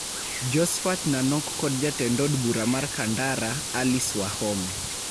Josphat Nanok kod jatend od bura mar Kandara, Alice Wahome.